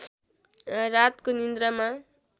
रातको निद्रामा